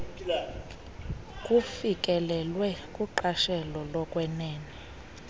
kufikelelwe kuqashelo lokwenene